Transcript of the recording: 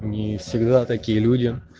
не всегда такие люди